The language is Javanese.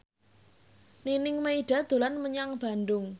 Nining Meida dolan menyang Bandung